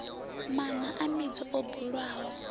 maṋa a mbudzi o bulwaho